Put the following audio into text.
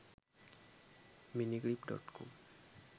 miniclip.com